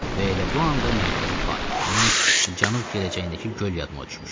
Və elə bu anda mərkəzi park, onun cənub-gələcəyindəki göl yadıma düşmüşdü.